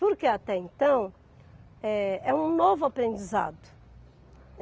Porque, até então, eh é um novo aprendizado.